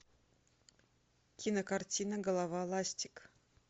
кинокартина голова ластик